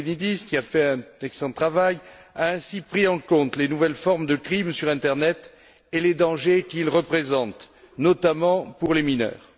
Lambrinidis, qui a fait un excellent travail, a ainsi pris en compte les nouvelles formes de crime sur Internet et les dangers qu'il représente, notamment pour les mineurs.